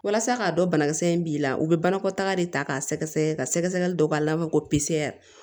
Walasa k'a dɔn banakisɛ in b'i la u be banakɔtaga de ta k'a sɛgɛsɛgɛ ka sɛgɛsɛgɛli dɔ b'a labɔ ko pisɛr